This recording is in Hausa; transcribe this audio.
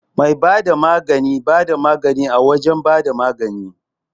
Mai bada magani bada magani a wajan bada magani